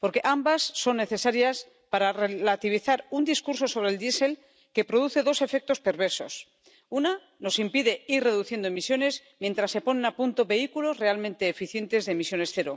Ambas son necesarias para relativizar un discurso sobre el diésel que produce dos efectos perversos nos impide ir reduciendo emisiones mientras se ponen a punto vehículos realmente eficientes de cero emisiones.